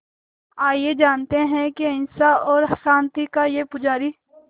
आइए जानते हैं कि अहिंसा और शांति का ये पुजारी